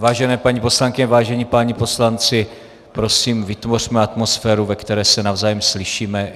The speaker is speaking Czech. Vážené paní poslankyně, vážení páni poslanci, prosím, vytvořme atmosféru, ve které se navzájem slyšíme.